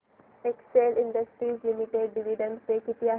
Excel Industries Limited dividend pay किती आहे